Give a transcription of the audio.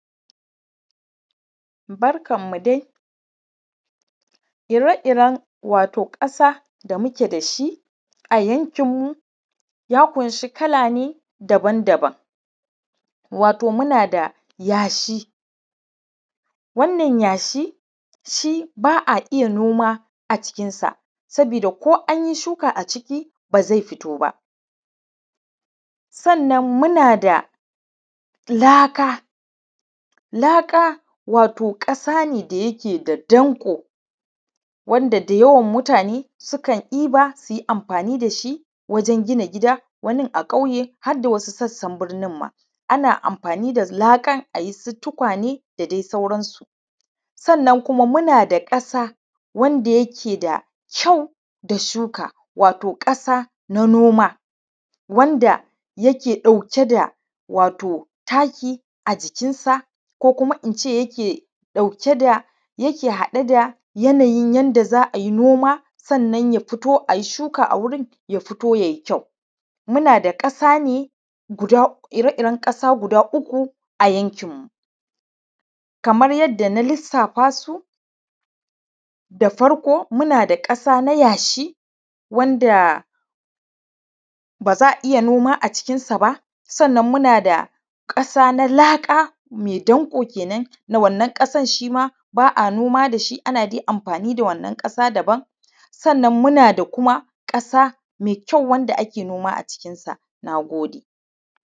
Barkan mu dai wato ire irren ƙasa wato da muke dashi a yankin mu ya kunshi kala ne daban daban, wato muna da yashi, wannan yashi shi ba’a iyya noma a cikin sa saboda ko anyi shuka a ciki bazai fitoba. Sannan muna da laka, laka wato ƙasa ne da yake da danƙo mutane da yawa sukan ɗiba suyi amfani dashi wurin gina gida wani a kauye hadda wasu sassan birnin ma. Ana amfani da laka ayi tukwane da dai sauran su. Sannan kuma munada ƙasa wanda yake kyau da shuka wato ƙasa na noma, wanda yake da taki ajikin sa ko kuma ince yake dauke da yake haɗe da yanayin yanda za’ai noma sannan ya fito ai shuka a wurin ya fito yai kyau. muna da ƙasa ne ire iren ƙasa guda uku a yankin mu kamar yadda na lissafa su da farko muna da ƙasa yashi wanda baza’a iyya noma a cikin sa ba, sannan mu nada ƙasa na laka mai danƙo kenan wannan ƙasan shima ba’a noma dashi ana dai amfani da wannan ƙasa ayi gini. Sannan muna da kuma ƙasa mai kyau wanda ake noma a cikin sa. Nagode